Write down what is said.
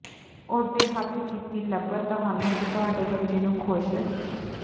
ਉਸ ਦੇ ਹੱਥ ਕੀਤੀ ਲੱਭਤ ਤੁਹਾਨੂੰ ਅਤੇ ਤੁਹਾਡੇ ਬੱਚੇ ਨੂੰ ਖ਼ੁਸ਼